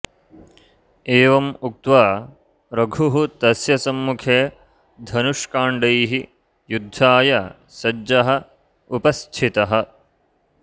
एवम् उक्त्वा रघुः तस्य सम्मुखे धनुष्काण्डैः युद्धाय सज्जः उपस्थितः